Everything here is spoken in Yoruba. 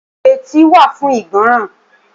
Etí wà fún ìgbọ́ràn